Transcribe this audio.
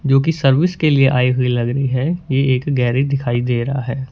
जो की सर्विस के लिए आई हुई लग रही है ये एक गैरेज दिखाई दे रहा है।